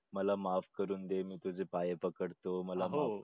मला माफ करून दे मी तुझ्या पाया पडतो मला